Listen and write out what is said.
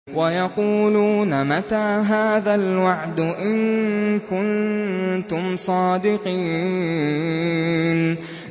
وَيَقُولُونَ مَتَىٰ هَٰذَا الْوَعْدُ إِن كُنتُمْ صَادِقِينَ